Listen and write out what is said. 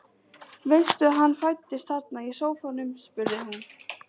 Veistu að hann fæddist þarna í sófanum? spurði hún.